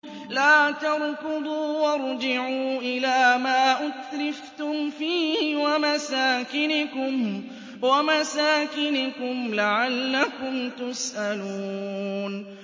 لَا تَرْكُضُوا وَارْجِعُوا إِلَىٰ مَا أُتْرِفْتُمْ فِيهِ وَمَسَاكِنِكُمْ لَعَلَّكُمْ تُسْأَلُونَ